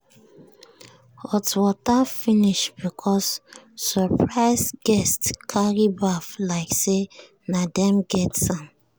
hot water finish because surprise guests carry baff like say na them get am.